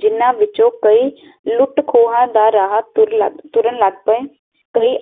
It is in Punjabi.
ਜਿਨ੍ਹਾਂ ਵਿੱਚੋ ਕਈ ਲੁੱਟ ਖੋਆ ਦਾ ਰਾਹ ਤੁਰਨ ਲਗ ਪਏ